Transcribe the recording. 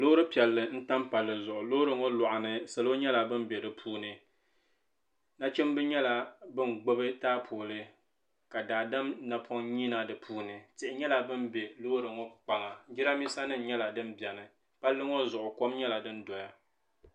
Loori piɛlli n tam palli zuɣu loori ŋɔ lɔɣu ni salo nyɛla ban bɛ di puuni nachimba nyɛla bin gbubi taapooli ka daadam napɔŋ yina di puuni tihi nyɛla din bɛ loori ŋɔ kpaŋa jiranbiisa nim nyɛla din bɛni palli ŋɔ zuɣu kɔm nyɛla din dɔya.